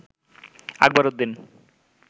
Akbar Uddin